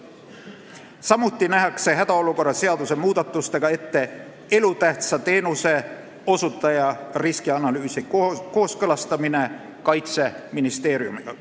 Samuti nähakse hädaolukorra seaduse muudatustega ette elutähtsa teenuse osutaja riskianalüüsi kooskõlastamine Kaitseministeeriumiga.